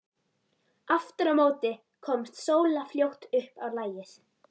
Aftur á móti komst Sóla fljótt upp á lagið.